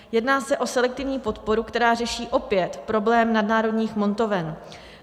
Jedná se o selektivní podporu, která řeší opět problém nadnárodních montoven.